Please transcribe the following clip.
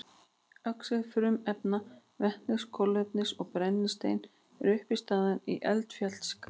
Oxíð frumefnanna vetnis, kolefnis og brennisteins eru uppistaðan í eldfjallagasi.